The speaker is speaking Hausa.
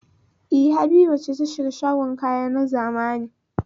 E, Habiba ce ta shiga shagon kaya na zamani.